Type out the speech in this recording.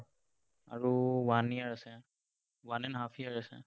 আৰু one year আছে one and a half year আছে।